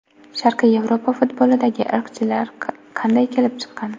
Sharqiy Yevropa futbolidagi irqchilik qanday kelib chiqqan?